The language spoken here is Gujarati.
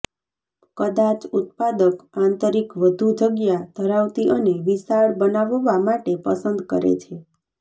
કદાચ ઉત્પાદક આંતરિક વધુ જગ્યા ધરાવતી અને વિશાળ બનાવવા માટે પસંદ કરે છે